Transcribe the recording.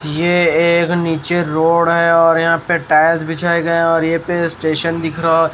ये एक नीचे रोड़ है और यहां पे टायल्स बिछाए गए हैं और यही पे स्टेशन दिख रहा--